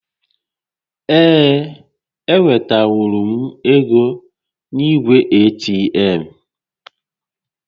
Ee, e wetanwuru m égo n'igwe ATM